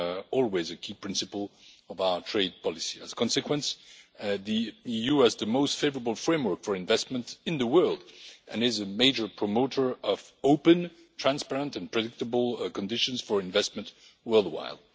always been a key principle of our trade policy. As a consequence, the US is the most favourable framework for investment in the world and is a major promoter of open, transparent and predictable conditions for investment worldwide.